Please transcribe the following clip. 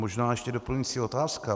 Možná ještě doplňující otázka.